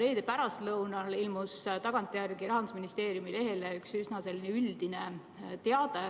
Reede pärastlõunal ilmus tagantjärele Rahandusministeeriumi lehele üks üsna üldine teade,